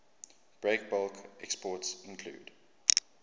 breakbulk exports include